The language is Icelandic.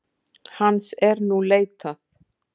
Hans er nú leitað